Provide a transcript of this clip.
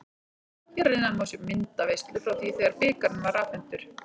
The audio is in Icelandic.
Hér að neðan má sjá myndaveislu frá því þegar bikarinn var afhentur.